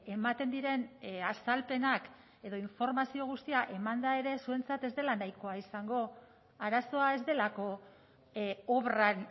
ematen diren azalpenak edo informazio guztia emanda ere zuentzat ez dela nahikoa izango arazoa ez delako obran